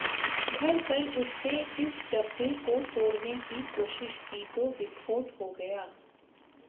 घर पर उसने इस डब्बे को तोड़ने की कोशिश की तो विस्फोट हो गया